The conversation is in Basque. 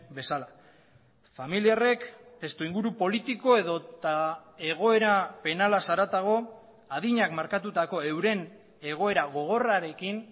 bezala familiarrek testuinguru politiko edota egoera penalaz haratago adinak markatutako euren egoera gogorrarekin